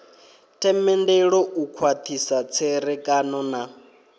themendelo u khwathisa tserekano na